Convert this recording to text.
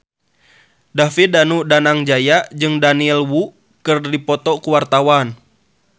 David Danu Danangjaya jeung Daniel Wu keur dipoto ku wartawan